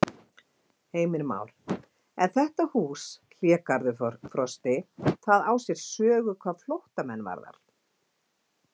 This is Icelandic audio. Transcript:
Heimir Már: En þetta hús, Hlégarður Frosti, það á sér sögu hvað flóttamenn varðar?